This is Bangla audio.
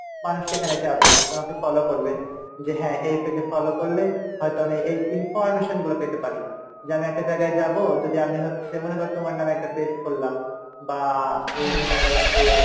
মানুষ সেখানে যাবে তোমাকে follow করবে যে হ্যাঁ এর কাছে follow করলে হয়তো আমি এই information গুলো পেতে পারি যে আমি একটা জায়গায় যাবো যদি আমি হচ্ছে মনে করো তোমার নামে একটা page করলা বা এই মনে করো যে,